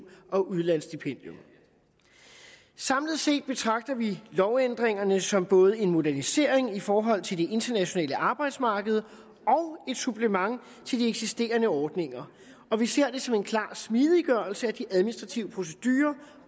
og udlandsstipendium samlet set betragter vi lovændringerne som både en modernisering i forhold til det internationale arbejdsmarked og et supplement til de eksisterende ordninger og vi ser det som en klar smidiggørelse af de administrative procedurer